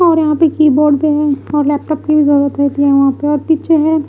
और यहां पे कीबोर्ड भी है और लैपटॉप जरूरत होती है वहां पे पीछे हैं।